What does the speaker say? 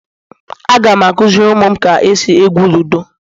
Aga m akuziri umum ka esi egwu ludo